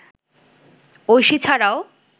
ঐশী ছাড়াও